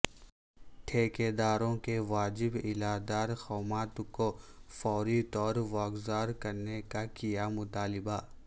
ٹھیکداروں کے واجب الادا رقومات کو فوری طورواگذار کرنے کا کیا مطالبہ